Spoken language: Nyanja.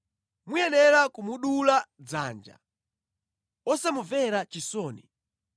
muyenera kumudula dzanja, osamumvera chisoni.